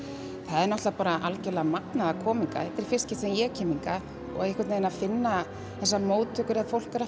er algjörlega magnað að koma hingað þetta er í fyrsta sinn sem ég kem hingað og einhvern veginn að finna þessar móttökur fólk er